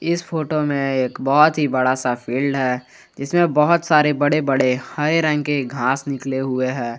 इस फोटो में एक बहोत ही बड़ा सा फील्ड है जिसमें बहोत सारे बड़े बड़े हरे रंग के घास निकले हुए हैं।